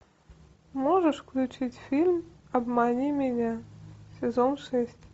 можешь включить фильм обмани меня сезон шесть